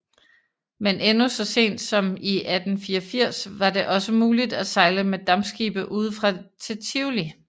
Men endnu så sent som i 1884 var det også muligt at sejle med dampskibe udefra til Tivoli